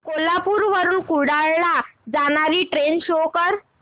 कोल्हापूर वरून कुडाळ ला जाणारी ट्रेन शो कर